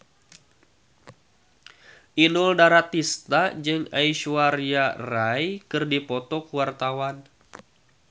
Inul Daratista jeung Aishwarya Rai keur dipoto ku wartawan